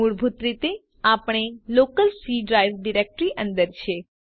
મૂળભૂત રીતે આપણે લોકલ સી ડ્રાઈવ ડિરેક્ટરી અંદર છે